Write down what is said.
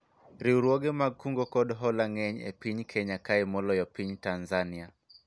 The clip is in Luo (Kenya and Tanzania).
riwruoge mag kungo kod hola ng'eny e piny Kenya kae moloyo piny Tanzania